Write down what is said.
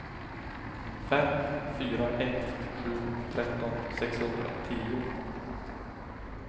fem fyra ett sju tretton sexhundratio